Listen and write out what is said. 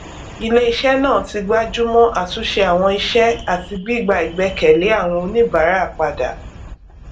ilé iṣẹ náà ti gbájú mọ àtúnṣe àwọn iṣẹ àti gbígba ìgbẹkẹlé àwọn oníbàárà padà